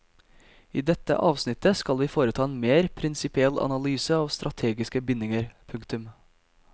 I dette avsnittet skal vi foreta en mer prinsipiell analyse av strategiske bindinger. punktum